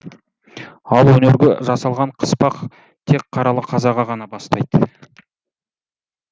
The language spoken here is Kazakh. ал өнерге жасалған қыспақ тек қаралы қазаға ғана бастайды